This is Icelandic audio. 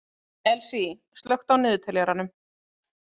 Elsý, slökktu á niðurteljaranum.